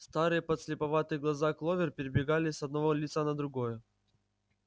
старые подслеповатые глаза кловер перебегали с одного лица на другое